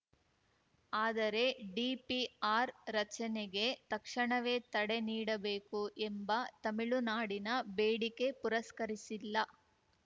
ಆದರೆ ಡಿಪಿಆರ್‌ ರಚನೆಗೆ ತಕ್ಷಣವೇ ತಡೆ ನೀಡಬೇಕು ಎಂಬ ತಮಿಳುನಾಡಿನ ಬೇಡಿಕೆ ಪುರಸ್ಕರಿಸಿಲ್ಲ